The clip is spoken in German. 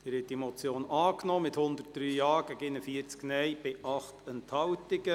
Sie haben die Motion angenommen, mit 103 Ja- zu 41 Nein-Stimmen bei 8 Enthaltungen.